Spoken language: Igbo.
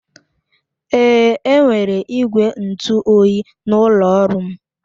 Èé, enwere igwe ntụ oyi n'ụlọ ọrụ m